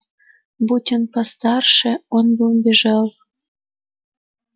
будь он постарше он бы убежал